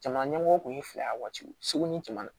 Jamana ɲɛmɔgɔw tun ye fila ye waatiw segu ni cɛman